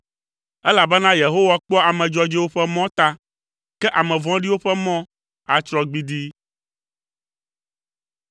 Elabena Yehowa kpɔa ame dzɔdzɔewo ƒe mɔ ta, ke ame vɔ̃ɖiwo ƒe mɔ atsrɔ̃ gbidii.